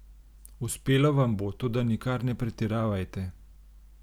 Uspelo vam bo, toda nikar ne pretiravajte.